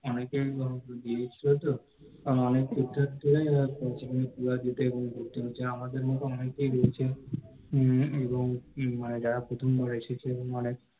অনেকেই অনেক জিনিস দেয় তো, কারণ অনেকেই পূজো দেয় কারণ আমাদের মত অনেকেই রয়েছে এবং যারা প্রথমবার এসেছে মানে ওখানে